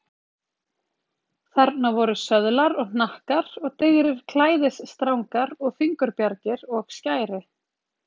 Þarna voru söðlar og hnakkar og digrir klæðisstrangar og fingurbjargir og skæri.